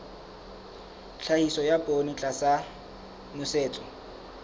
tlhahiso ya poone tlasa nosetso